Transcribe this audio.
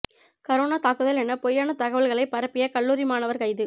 corona தாக்குதல் எனப் பொய்யான தகவல்களைப் பரப்பிய கல்லூரி மாணவர் கைது